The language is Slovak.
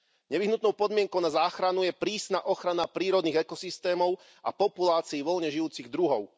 Nevyhnutnou podmienkou na záchranu je prísna ochrana prírodných ekosystémov a populácií voľne žijúcich druhov.